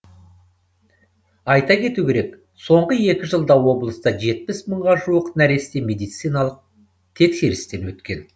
айта кету керек соңғы екі жылда облыста жетпіс мыңға жуық нәресте медициналық тексерістен өткен